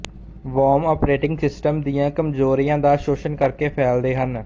worm operating system ਦੀਆਂ ਕਮਜ਼ੋਰੀਆਂ ਦਾ ਸ਼ੋਸ਼ਣ ਕਰਕੇ ਫੈਲਦੇ ਹਨ